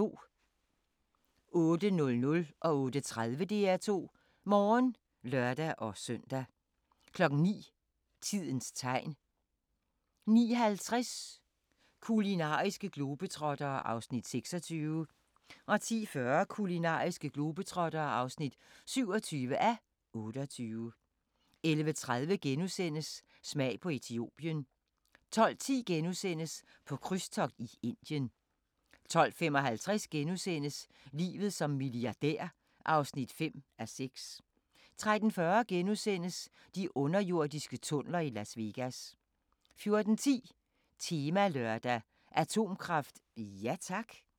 08:00: DR2 Morgen (lør-søn) 08:30: DR2 Morgen (lør-søn) 09:00: Tidens Tegn 09:50: Kulinariske globetrottere (26:28) 10:40: Kulinariske globetrottere (27:28) 11:30: Smag på Etiopien * 12:10: På krydstogt i Indien * 12:55: Livet som milliardær (5:6)* 13:40: De underjordiske tunneler i Las Vegas * 14:10: Temalørdag: Atomkraft – ja tak?